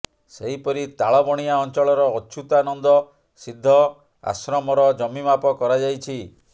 ସେହିପରି ତାଳବଣିଆ ଅଞ୍ଚଳର ଅଚ୍ୟୁତାନନ୍ଦ ସିଦ୍ଧ ଆଶ୍ରମର ଜମି ମାପ କରାଯାଇଛି